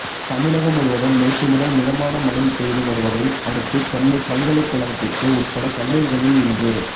தமிழகம் முழுவதும் நேற்று முதல் மிதமான மழை பெய்து வருவதை அடுத்து சென்னை பல்கலைக்கழகத்திற்கு உட்பட்ட கல்லூரிகளில் இன்று